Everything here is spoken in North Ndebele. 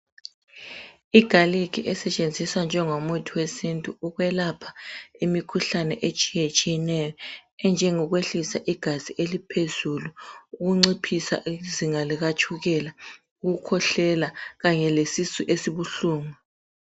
Igarlic esetshenziswa njengomuthi wesintu ukwelapha imikhuhlane etshiyetshiyeneyo enjengokwehlisa igazi eliphezulu, ukunciphisa izinga likatshukela, ukukhwezelela kanye lesisu esibuhlungu.